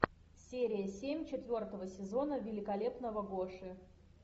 серия семь четвертого сезона великолепного гоши